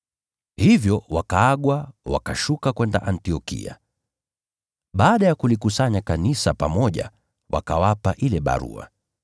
Hivyo wakaagwa, wakashuka kwenda Antiokia. Baada ya kulikusanya kanisa pamoja, wakawapa ile barua.